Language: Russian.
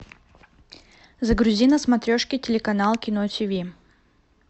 загрузи на смотрешке телеканал кино тв